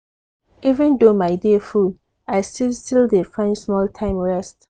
even though my day full i still still dey find small time rest.